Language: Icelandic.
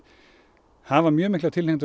hafa mjög mikla tilhneigingu